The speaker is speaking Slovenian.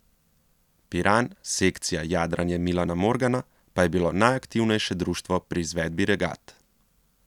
Piran, sekcija jadranje Milana Morgana, pa je bilo najaktivnejše društvo pri izvedbi regat.